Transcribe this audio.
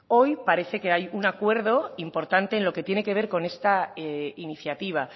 hoy parece que hay un acuerdo importante en lo que tiene que ver con esta iniciativa